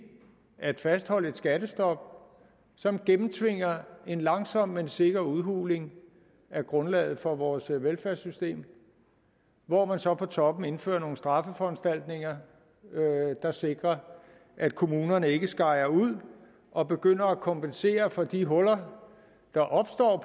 at fastholde et skattestop som gennemtvinger en langsom men sikker udhuling af grundlaget for vores velfærdssystem hvor man så på toppen indfører nogle straffeforanstaltninger der sikrer at kommunerne ikke skejer ud og begynder at kompensere for de huller der opstår